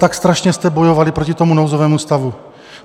Tak strašně jste bojovali proto tomu nouzovému stavu.